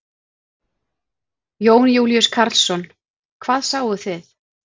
Jón Júlíus Karlsson: Hvað sáuð þið?